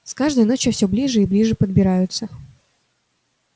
с каждой ночью всё ближе и ближе подбираются